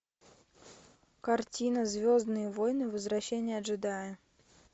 картина звездные войны возвращение джедая